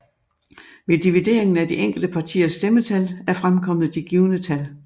Ved divideringen af de enkelte partiers stemmetal er fremkommet de givne tal